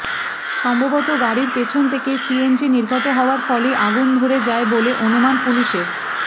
সম্ভবত গাড়ির পিছন থেকে সিএনজি নির্গত হওয়ার ফলেই আগুন ধরে যায় বলে অনুমান পুলিশের